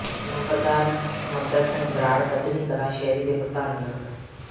ਨੰਬਰਦਾਰ ਸੁਖਮੰਦਰ ਸਿੰਘ ਬਰਾੜ ਬੱਧਨੀ ਕਲਾਂ ਸ਼ਹਿਰੀ ਦੇ ਪ੍ਰਧਾਨ ਨਿਯੁਕਤ